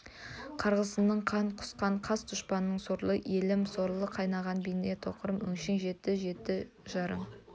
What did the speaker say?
қарғысыңнан қан құссын қас дұшпаның сорлы елім соры қайнаған бейнетқорым өңшең жетті жетті зарың